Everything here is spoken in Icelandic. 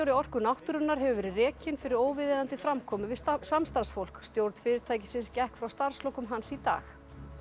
Orku náttúrunnar hefur verið rekinn fyrir óviðeigandi framkomu við samstarfsfólk stjórn fyrirtækisins gekk frá starfslokum hans í dag